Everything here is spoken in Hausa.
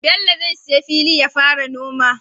Bello zai siya fili yafara noma